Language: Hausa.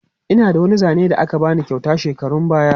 Ina da wani zane da aka ba ni kyauta shekarun baya.